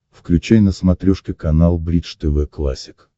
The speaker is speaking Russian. включай на смотрешке канал бридж тв классик